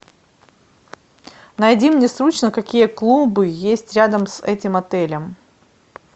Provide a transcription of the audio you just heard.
найди мне срочно какие клубы есть рядом с этим отелем